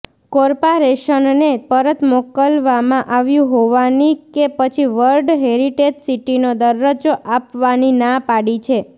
કોર્પારેશનને પરત મોકલવામાં આવ્યું હોવાની કે પછી વર્લ્ડ હેરિટેજ સિટીનો દરજ્જો આપવાની ના પાડી છે